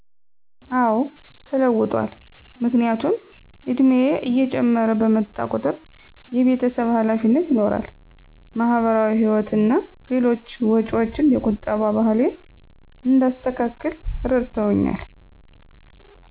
አዎ ተለውጧል፣ ምክንያቱም እድሜየ እየጨመረ በመጣ ቁጠር የቤተሰብ ሀላፊነት ይኖራል፣ ማሀበራዊ ህይወት እና ሌሎች ወጭዎች የቁጠባ ባህሌን እንዳስተካክል እረድተውኛል።